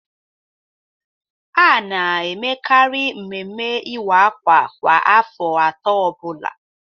A na-emekari mmemme iwa akwa kwa afọ atọ ọbụla.